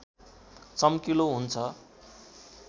चम्किलो हुन्छ